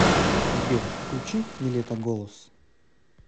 сбер включи нилетто голос